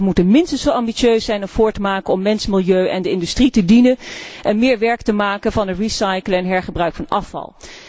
De lidstaten moeten minstens zo ambitieus zijn en voortmaken om mens, milieu en de industrie te dienen, en meer werk te maken van recyclen en hergebruiken van